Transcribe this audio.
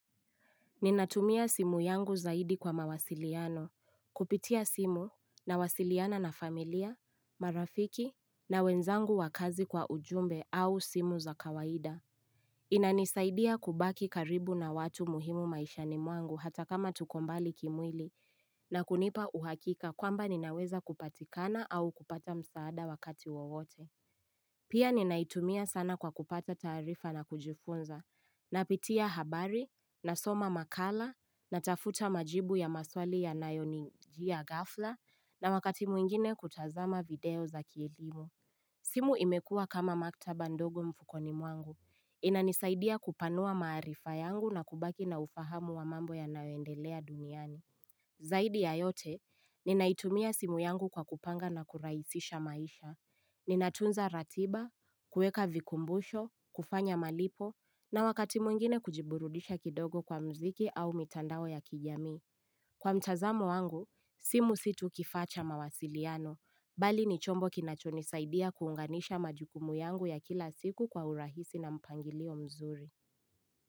Ninatumia simu yangu zaidi kwa mawasiliano, kupitia simu nawasiliana na familia, marafiki na wenzangu wakazi kwa ujumbe au simu za kawaida. Inanisaidia kubaki karibu na watu muhimu maishani mwangu hata kama tuko mbali kimwili na kunipa uhakika kwamba ninaweza kupatikana au kupata msaada wakati wowote. Pia ninaitumia sana kwa kupata tarifa na kujifunza, napitia habari, nasoma makala, natafuta majibu ya maswali yanayo nijia gafla, na wakati mwingine kutazama video za kielimu. Simu imekua kama maktaba ndogo mfukoni mwangu. Inanisaidia kupanua maarifa yangu na kubaki na ufahamu wa mambo yanayo endelea duniani. Zaidi ya yote, ninaitumia simu yangu kwa kupanga na kuraisisha maisha. Ninatunza ratiba, kuweka vikumbusho, kufanya malipo, na wakati mwingine kujiburudisha kidogo kwa mziki au mitandao ya kijami. Kwa mtazamo wangu, simu si tu kifaa cha mawasiliano. Bali ni chombo kinachonisaidia kuunganisha majukumu yangu ya kila siku kwa urahisi na mpangilio mzuri.